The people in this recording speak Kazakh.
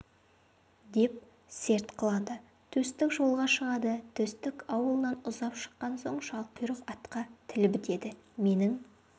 деп серт қылады төстік жолға шығады төстік ауылынан ұзап шыққан соң шалқұйрық атқа тіл бітеді менің